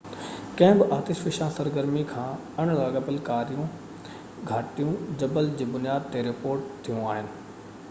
ڪنهن به آتش فشان سرگرمي کان اڻ لاڳاپيل ڪاريون گهٽائون جبل جي بنياد ۾ رپورٽ ٿيون آهن